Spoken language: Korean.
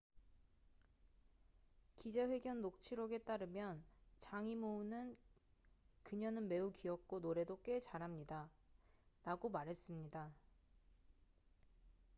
"기자 회견 녹취록에 따르면 장이모우는 "그녀는 매우 귀엽고 노래도 꽤 잘합니다""라고 말했습니다.